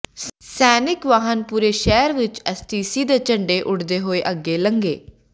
ਸੈਨਿਕ ਵਾਹਨ ਪੂਰੇ ਸ਼ਹਿਰ ਵਿਚ ਐਸਟੀਸੀ ਦੇ ਝੰਡੇ ਉੱਡਦੇ ਹੋਏ ਅੱਗੇ ਲੰਘੇ